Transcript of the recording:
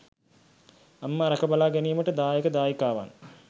අම්මා රැක බලා ගැනීමට දායක දායිකාවන්